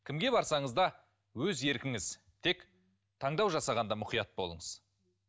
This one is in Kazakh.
кімге барсаңыз да өз еркіңіз тек таңдау жасағанда мұқият болыңыз